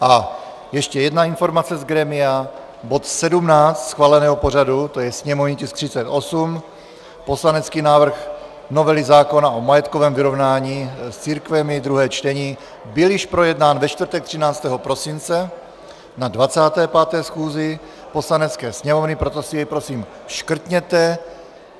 A ještě jedna informace z grémia: bod 17 schváleného pořadu, to je sněmovní tisk 38, poslanecký návrh novely zákona o majetkovém vyrovnání s církvemi, druhé čtení, byl již projednán ve čtvrtek 13. prosince na 25. schůzi Poslanecké sněmovny, proto si jej prosím škrtněte.